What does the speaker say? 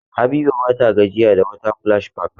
Habiba ba ta gajiya da water splash park.